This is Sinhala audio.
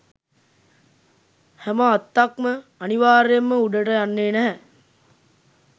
හැම අත්තක්ම අනිවාර්යයෙන්ම උඩට යන්නේ නැහැ